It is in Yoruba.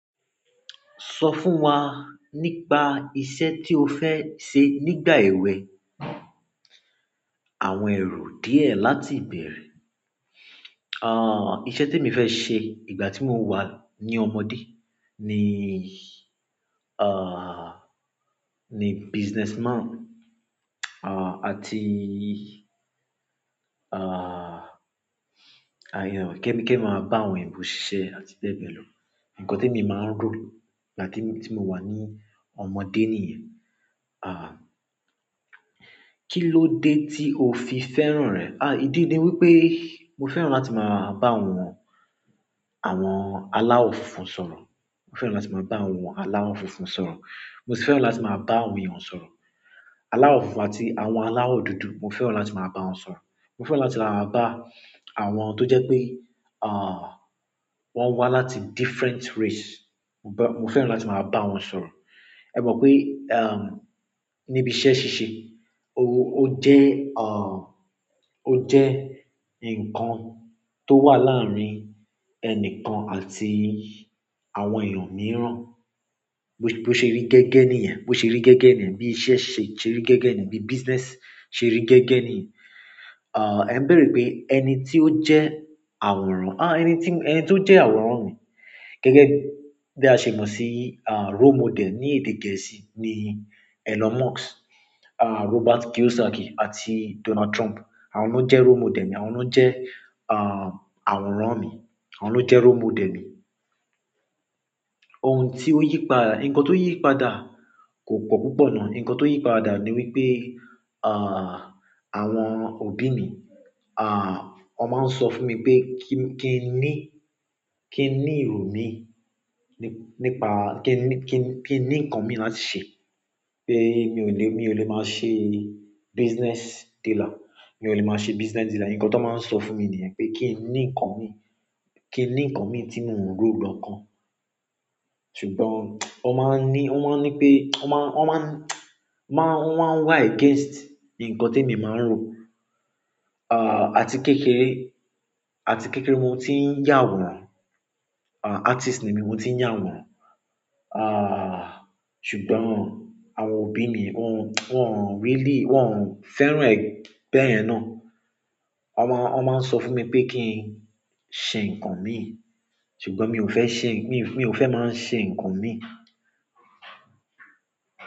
Sọ fún wa nípa iṣẹ́ tí o fẹ́ ṣe nígbà èwe. Àwọn èrò díẹ̀ láti ìbẹ̀rẹ̀. Iṣẹ́ tí mo fẹ́ ṣe ìgbà tí mo wà ní ọmọdé ni, lni businessman àti, kẹ́ mi máa bá àwọn ẹ̀bùn ṣíṣe àti bẹ́ẹ̀ bẹ́ẹ̀ lọ. Ǹkan tí mo máa ń rò ìgbà tí mo wà ní ọmọdé nìyẹn. Kí ló dé tí o fi fẹ́ràn rẹ̀? Ìdí ni wípé mo fẹ́ràn láti máa bá àwọn, àwọn aláwọ̀ funfun sọ̀rọ̀. Mo fẹ́ràn láti máa bá àwọn aláwọ̀ funfun sọ̀rọ̀. Mo sì fẹ́ràn láti máa bá àwọn èèyàn sọ̀rọ̀. Aláwọ̀ funfun àti àwọn aláwọ̀ dúdú, mo fẹ́ràn láti máa bá wọn sọ̀rọ̀. Mo fẹ́ràn láti máa bá àwọn tó jẹ́ pé, wọ́n wá láti different race, mo fẹ́ràn láti máa bá wọn sọ̀rọ̀. Ẹ mọ̀ pé, níbi iṣẹ́ ṣíṣe, ó jẹ́, ó jẹ́ ǹkan tó wà láàárín ẹnìkan àti àwọn èèyàn mìíràn. Bo ṣe rí gẹ́gẹ́ nìyẹn. Bo ṣe rí gẹ́gẹ́ nìyẹn. Bí iṣẹ́ ṣe rí gẹ́gẹ́ nìyẹn. Bí business ṣe rí gẹ́gẹ́ nìyẹn. Ẹ ń bẹ̀rẹ̀ pé ẹni tí ó jẹ́ àwòrán, ẹni tí ó jẹ́ àwòrán mi gẹ́gẹ́ bí a ṣe mọ̀ sí, role model ní èdè gẹ̀ẹ́sì ni Elon Musk, Robert Kiyosaki àti Donald Trump. Àwọn náà jẹ́ role model mi. Àwọn náà jẹ́, àwòrán mi. Àwọn náà jẹ́ role model mi. Ohun tí ó yí padà, ǹkan tó yí padà kò pọ̀ púpọ̀ ná. Ǹkan tó yí padà ni wípé, àwọn òbí mi, wọ́n máa ń sọ fún mi pé kí n ní, kí n ní èrò mi nípa-- kí n ní, kí n ní ǹkan mi láti ṣe. Pé mi ò lè, mi ò lè máa ṣe business dealer. Mi ò lè máa ṣe business dealer. Ǹkan tó máa ń sọ fún mi nìyẹn, pé kí n ní ǹkan mi, kí n ní ǹkan mi tí mò ń rò lọ́kàn. Ṣùgbọ́n wọ́n máa ń ní, wọ́n máa ń ní pé, wọ́n máa ń, wọ́n máa ń, wọ́n máa ń wa against ǹkan tí mo máa ń rò. Àti kékeré, àti kékeré mo ti ń yà wọ́n. Artist ni mí, mo ti ń yà wọ́n. Ṣùgbọ́n àwọn òbí mi wọ́n, wọ́n ò really, wọ́n ò fẹ́ràn ẹ̀ bẹ́ẹ̀ náà. Wọ́n máa, wọ́n máa ń sọ fún mi pé kí n ṣe ǹkan mi. Ṣùgbọ́n mi ò fẹ́ ṣe, mi ò fẹ́ máa ṣe ǹkan mi.